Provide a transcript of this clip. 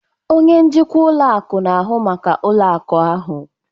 Onye njikwa ụlọ akụ na-ahụ maka ụlọ akụ ahụ.